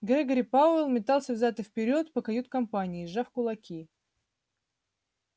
грегори пауэлл метался взад и вперёд по кают-компании сжав кулаки